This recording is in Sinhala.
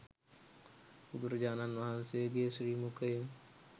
බුදුරජාණන් වහන්සේගේ ශ්‍රී මුඛයෙන්